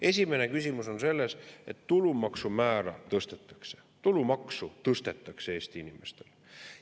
Esimene küsimus on selles, et tulumaksumäära tõstetakse, tulumaksu tõstetakse Eesti inimestel.